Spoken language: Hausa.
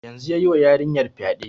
Yanzun yayi wa yarinyar fyaɗe